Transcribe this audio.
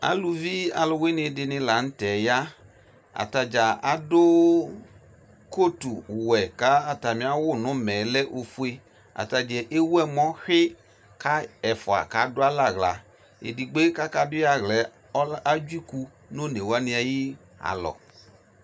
Aluvi aluwene de ne lantɛ ya Ata dza ado kotuwɛ ka atane awu no umɛɛ lɛ ofue Ata dza ewu ɛmɔ hwi ka ɛfua kado alɛ ahla Edigboe kaka du ye ahlaɛ ɔla, adzɔ iku no one wane aye alɔ